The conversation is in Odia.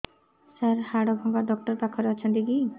ସାର ହାଡଭଙ୍ଗା ଡକ୍ଟର ପାଖରେ ଅଛନ୍ତି କି